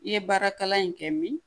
I ye baara kalan in kɛ min